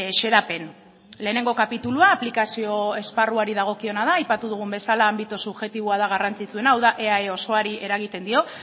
xedapen lehenengo kapitulua aplikazio esparruari dagokiona da aipatu dugun bezala anbito subjektiboa da garrantzitsuena hau da eae osoari eragiten dio